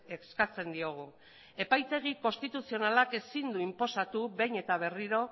eskatzen diogu epaitegi konstituzionalak ezin du inposatu behin eta berriro